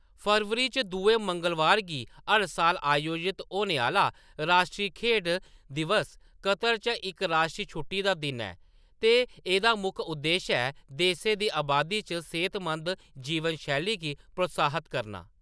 फरवरी च दुए मंगलबार गी हर साल आयोजत होने आह्‌‌‌ला राश्ट्री खेढ दिवस कतर च इक राश्ट्री छुट्टी दा दिन ऐ, ते एह्‌‌‌दा मुक्ख उद्देश ऐ देशै दी अबादी च सेहतमंद जीवन शैली गी प्रोत्साहत करना।